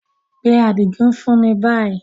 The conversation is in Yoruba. Pe Adigun fun mi ni bayi!